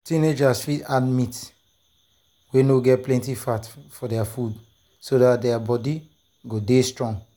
teenagers fit add meat wey no get plenty fat for their food so dat their their body go dey strong.